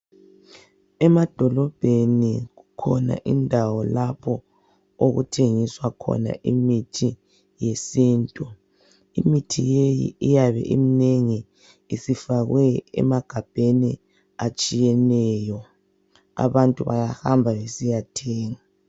Emadolobheni kukhona indawo lapho okuthengiswa khona imithi yesintu. Imithi leyi iyabe iminengi. Isifakwe emagabheni, atshiyeneyo. Abantu bayahamba, besiyathenga.